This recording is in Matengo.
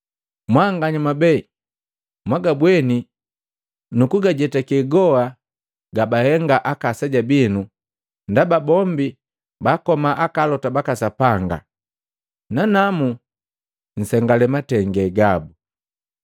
Mwanganya mwabee mwagabweni nuku jezetake goha gabahenga aka aseja binu ndaba bombi baakoma alota baka Sapanga, nananu nsengale matenge gabu.